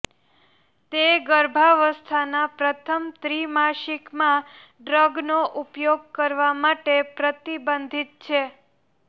તે ગર્ભાવસ્થાના પ્રથમ ત્રિમાસિકમાં ડ્રગનો ઉપયોગ કરવા માટે પ્રતિબંધિત છે